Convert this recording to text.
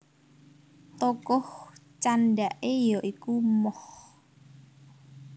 Tokoh candhake ya iku Moh